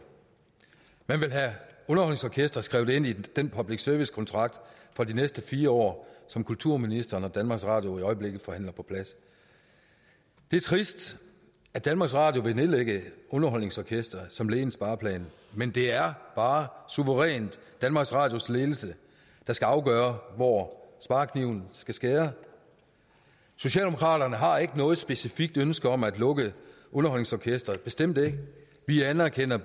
man vil have underholdningsorkestret skrevet ind i den public service kontrakt for de næste fire år som kulturministeren og danmarks radio i øjeblikket forhandler på plads det er trist at danmarks radio vil nedlægge underholdningsorkestret som led i en spareplan men det er bare suverænt danmarks radios ledelse der skal afgøre hvor sparekniven skal skære socialdemokraterne har ikke noget specifikt ønske om at lukke underholdningsorkestret bestemt ikke vi anerkender